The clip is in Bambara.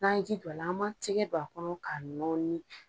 N'an ye ji don a la an m'an tigɛ don a kɔnɔ ka nɔɔni.